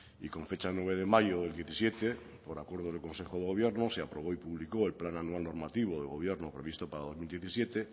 y con fecha nueve de mayo del diecisiete por acuerdo del consejo de gobierno se aprobó y publicó el plan anual normativo del gobierno previsto para dos mil diecisiete